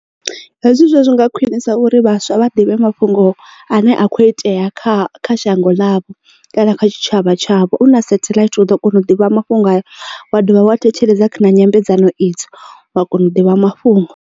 Hezwi zwa zwi nga khwinisa uri vhaswa vha ḓivhe mafhungo ane a kho itea kha kha shango ḽavho kana kha tshitshavha tshavho u na satheḽaithi u ḓo kona u ḓivha mafhungo haya wa dovha wa thetshelesa kha na nyambedzano idzo wa kona u ḓivha mafhungo.